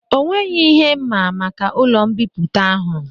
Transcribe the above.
Ọ nweghị ihe mma maka ụlọ mbipụta ahụ